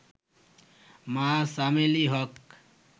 মা চামেলি হক